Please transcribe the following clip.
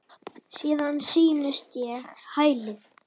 Síðan snýst ég á hæli.